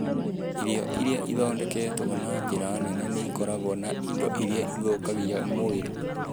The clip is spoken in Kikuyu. Irio iria ithondeketwo na njĩra nene nĩ ikoragwo na indo iria ithũkagia mwĩrĩ.